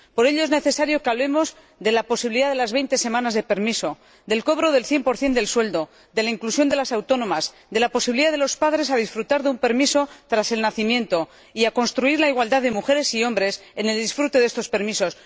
Por ello, es necesario que hablemos de la posibilidad de las veinte semanas de permiso, del cobro del 100 del sueldo, de la inclusión de las autónomas, de la posibilidad de que los padres disfruten de un permiso tras el nacimiento y de construir la igualdad de mujeres y hombres en el disfrute de estos permisos.